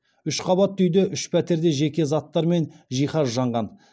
үш қабатты үйде үш пәтерде жеке заттар мен жиһаз жанған